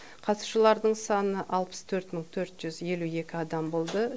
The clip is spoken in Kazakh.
қатысушылардың саны алпыс төрт мың төрт жүз елу екі адам болды